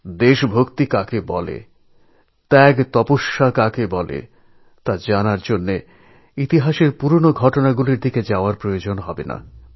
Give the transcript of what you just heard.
দেশভক্তি কি ত্যাগ তপস্যা কাকে বলে এই বিষয়ে জানার জন্য ইতিহাসে পুরনো ঘটনা জানার প্রয়োজন হয় না